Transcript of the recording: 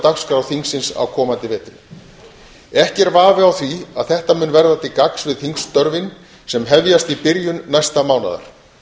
dagskrá þingsins á komandi vetri ekki er vafi á því að þetta mun verða til gagns við þingstörfin sem hefjast í byrjun næsta mánaðar